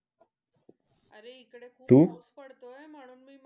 अरे इकडे खूप तू पाऊस पडतोय तू? म्हणून मी,